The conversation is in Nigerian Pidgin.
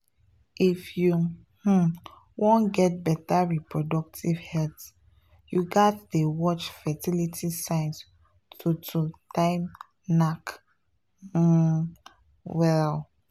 if you um wan get better reproductive health you gats dey watch fertility signs to to time knack um well.